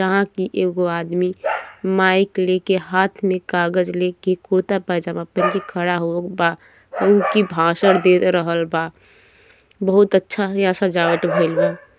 यहां की एगो आदमी माइक लेके हाथ में कागज लेके कुर्ता पजामा पहन के खड़ा हो बाउनकी भाषण दे रहल बा बहुत अच्छा यहाँ सजावट भईल बा।